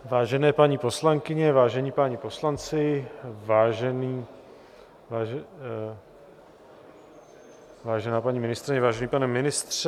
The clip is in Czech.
Vážené paní poslankyně, vážení páni poslanci, vážená paní ministryně, vážený pane ministře.